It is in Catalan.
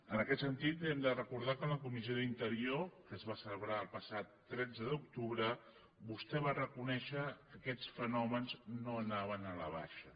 en aquest sentit li hem de recordar que en la comissió d’interior que es va celebrar el passat tretze d’octubre vostè va reconèixer que aquests fenòmens no anaven a la baixa